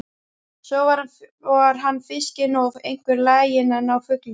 Svo var hann fiskinn og einkar laginn að ná fugli.